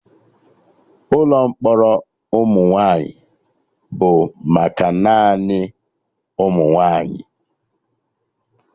Ụkọ mkpọrọ ụmụ nwaanyị bụ maka naanị ụmụnwaanyi